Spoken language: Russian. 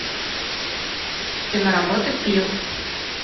киноработа пил